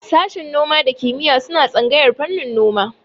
Sashin noma da kiyima suna tsangayar fannin noma